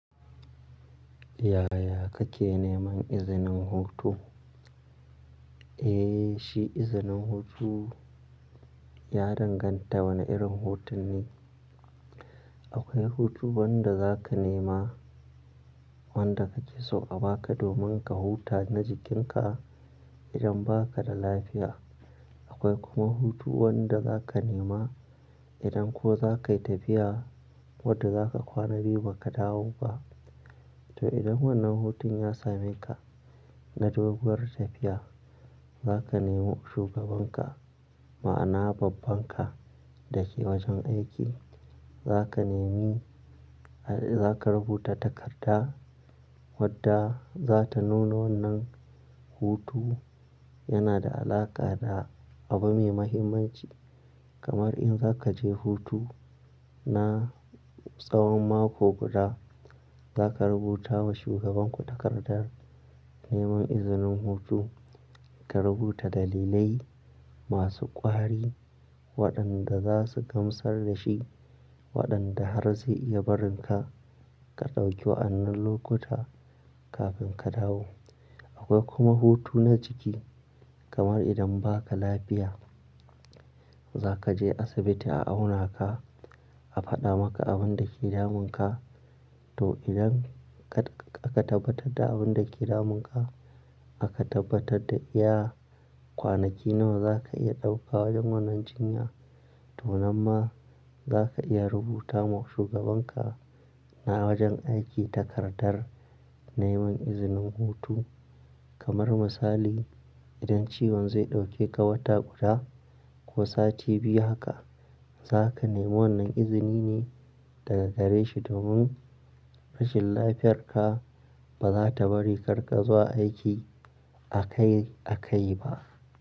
Yaya kake neman izinin hutu? Eh, shi izinin hutu ya danganta wane irin hutun ne. Akwai hutu wanda za ka nema wanda kake so a baka domin ka huta na jikinka idan baka da lafiya. Akwai kuma hutu wanda za ka nema idan ko za ka yi tafiya wadda za ka kwana biyu ba ka dawo ba. To idan wannan hutun ya same ka na doguwar tafiya, za ka nemo shugabanka ma'ana babban ka da ke wajen aiki. Za ka nemi, za ka rubuta takarda wadda za ta nuno wannan hutu yana da alaƙa da abu mai muhimmanci. Kamar in za ka je hutu na tsawon mako guda, za ka rubuta wa shugabanku takardar neman izinin hutu. Ka rubuta dalilai masu ƙwari waɗanda za su gamsar da shi waɗanda har zai iya barin ka, ka ɗauki wa'annan lokuta kafin ka dawo. Akwai kuma hutu na jiki kamar idan baka lafiya, za ka je asibiti a auna ka, a faɗa maka abin da ke damun ka. To! Idan ka tabbatar da abin da ke damun ka aka tabbatar da iya kwanaki nawa za ka iya ɗauka wajen wannan jinya. To nan ma za ka iya rubuta wa shugabanka na wajen aiki takardar neman izinin hutu. Kamar misali, idan ciwon zai ɗauke ka wata guda ko sati biyu haka, za ka nemo wannan izini ne daga gare shi domin rashin lafiyar ka ba za ta bari karin ga zuwa aiki akai-akai ba.